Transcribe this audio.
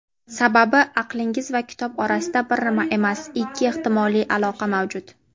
Sababi - aqlingiz va kitob orasida bir emas ikki ehtimoliy aloqa mavjud.